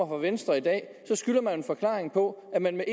venstre i dag skylder man en forklaring på at man